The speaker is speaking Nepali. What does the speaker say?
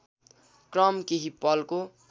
क्रम केही पलको